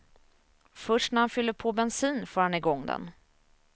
Först när han fyller på bensin får han i gång den.